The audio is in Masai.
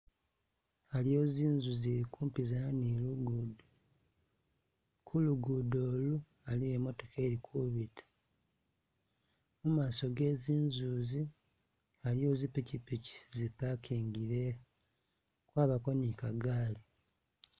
Aliwo zinzu zili kupizana ni lugudo ku lugudo ilu aliwo imotoka ili Kubita mumaso ge zinzu izi aliwo zipichipichi zi parkingile abako nika gali